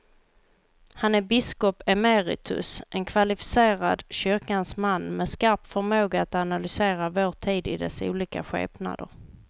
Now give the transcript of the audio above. Han är biskop emeritus, en kvalificerad kyrkans man med skarp förmåga att analysera vår tid i dess olika skepnader.